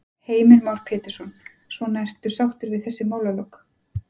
Heimir Már Pétursson: Svona ertu sáttur við þessi málalok?